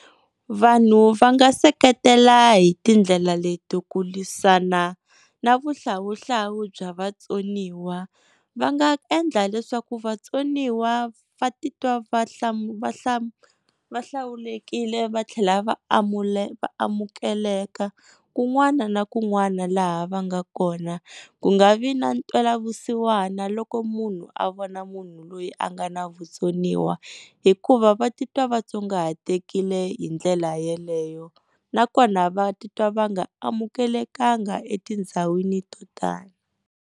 Vanhu va nga seketela hi tindlela leti ku lwisana na vuhlawuhlawu bya vatsoniwa, va nga endla leswaku vatsoniwa va titwa va va hlawulekile va tlhela va va amukeleka kun'wana na kun'wana laha va nga kona. Ku nga vi na ntwelavusiwana loko munhu a vona munhu loyi a nga na vutsoniwa, hikuva va titwa va tsongahatekile hi ndlela yeleyo, nakona va titwa va nga amukelekanga etindhawini to tala.